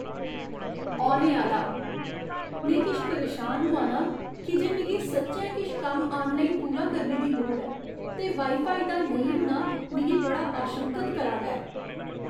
औने आह्‌ला "में किश परेशान होआ ना आं की जे मिगी सच्चैं किश कम्म आनलाइन पूरा करने दी लोड़ ऐ, ते वाई फाई दा नेईं होना मिगी बड़ा आशंकत करा दा ऐ।"